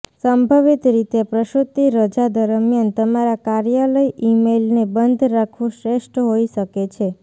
સંભવિત રીતે પ્રસૂતિ રજા દરમ્યાન તમારા કાર્યાલય ઇમેઇલને બંધ રાખવું શ્રેષ્ઠ હોઈ શકે છે